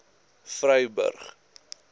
vryburg